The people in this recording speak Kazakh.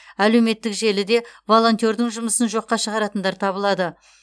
әлеуметтік желіде волонтердің жұмысын жоққа шығаратындар табылады